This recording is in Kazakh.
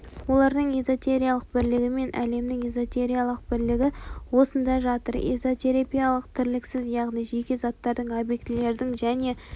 олардың эзотериялық бірлігі мен әлемнің эзотериялық бірлігі осында жатыр эзотериялық бірліксіз яғни жеке заттардың объектілердің және